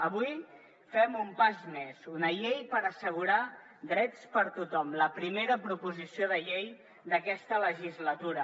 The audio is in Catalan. avui fem un pas més una llei per assegurar drets per a tothom la primera proposició de llei d’aquesta legislatura